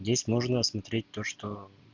здесь нужно осмотреть то что